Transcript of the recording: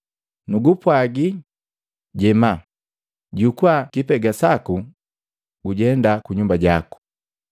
“Nugupwaagi, jema, jukua lipega laku, gujenda kunyumba jaku!”